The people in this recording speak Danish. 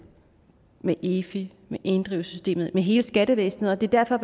med efi med inddrivelsessystemet med hele skattevæsenet derfor